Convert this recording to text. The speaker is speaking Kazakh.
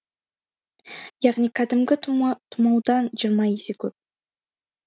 яғни кәдімгі тұмаудан жиырма есе көп